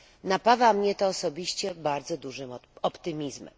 Napawa mnie to osobiście bardzo dużym optymizmem.